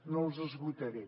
no els esgotaré